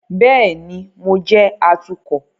Bẹẹni, Mo jẹ atukọ